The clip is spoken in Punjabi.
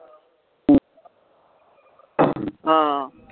ਹਾਂ